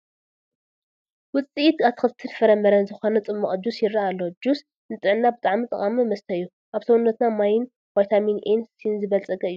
ውፅኢት ኣትክልትን ፍረምረን ዝኾነ ፅሟቕ ጁስ ይረአ ኣሎ፡፡ ጁስ ንጥዕና ብጣዕሚ ጠቃሚ መስተ እዩ፡፡ ኣብ ሰውነትና ማይን ቫይታሚን ኤን ሲን ዝበልፀገ እዩ፡፡